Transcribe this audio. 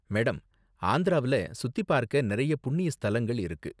Madam, ஆந்திராவுல சுத்தி பார்க்க நிறைய புண்ணிய ஸ்தலங்கள் இருக்கு.